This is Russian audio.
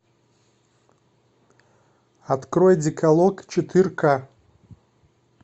открой декалог четырка